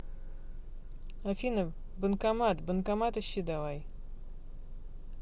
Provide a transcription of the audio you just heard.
афина банкомат банкомат ищи давай